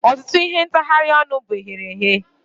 Ọtụtụ ihe ntagharị ọnụ bụ eghereghe